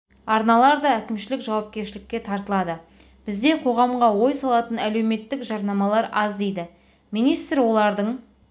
арналар да әкімшілік жауапкершілікке тартылады бізде қоғамға ой салатын әлеуметтік жарнамалар аз дейді министр олардың